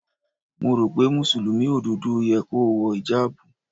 Mo rò pé Mùsùlùmí òdodo yẹ kó wọ ìjábù.